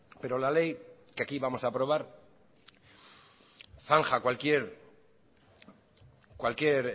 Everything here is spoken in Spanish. pero la ley que aquí vamos a aprobar zanja cualquier